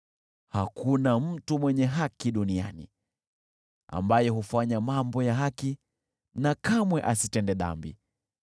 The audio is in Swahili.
Hakuna mtu mwenye haki duniani ambaye hufanya mambo ya haki na kamwe asitende dhambi.